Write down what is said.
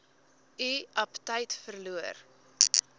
u aptyt verloor